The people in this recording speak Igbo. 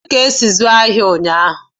Kedu ka esi azụ ahịa ụnyaahụ gara?